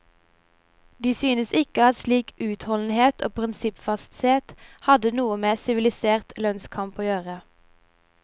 De syntes ikke at slik utholdenhet og prinsippfasthet hadde noe med sivilisert lønnskamp å gjøre.